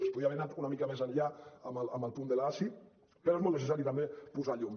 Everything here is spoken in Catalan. es podia haver anat una mica més enllà en el punt de l’asi però és molt necessari també posar hi llum